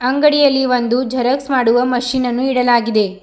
ಅಂಗಡಿಯಲ್ಲಿ ಒಂದು ಜೆರಾಕ್ಸ್ ಮಾಡುವ ಮಷೀನ್ ನನ್ನು ಇಡಲಾಗಿದೆ.